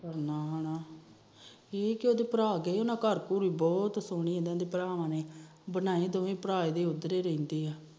ਹਮ ਠੀਕ ਉਹਦੇ ਭਰਾ ਭਰੂ ਗਏ ਬਹੁਤ ਸੋਹਣੇ ਉਹਨਾ ਭਰਾਵਾ ਦੇ ਬਣਾਏ ਇਹਦੇ ਦੋਵੇ ਭਰਾ ਉਧਰੇ ਰਹਿੰਦੇ ਆ